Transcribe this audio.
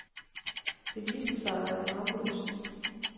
Det viste sig at være harmløst.